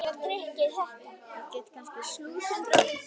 Ég get kannski skotist til þín á eftir.